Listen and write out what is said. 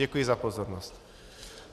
Děkuji za pozornost.